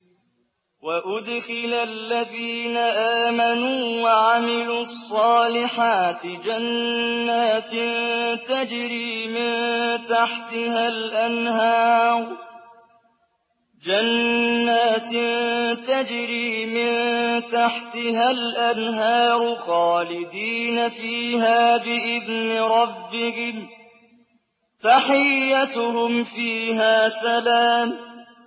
وَأُدْخِلَ الَّذِينَ آمَنُوا وَعَمِلُوا الصَّالِحَاتِ جَنَّاتٍ تَجْرِي مِن تَحْتِهَا الْأَنْهَارُ خَالِدِينَ فِيهَا بِإِذْنِ رَبِّهِمْ ۖ تَحِيَّتُهُمْ فِيهَا سَلَامٌ